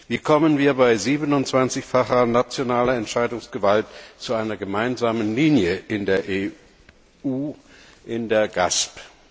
Wie kommen wir bei 27 facher nationaler Entscheidungsgewalt zu einer gemeinsamen Linie in der EU, in der GASP?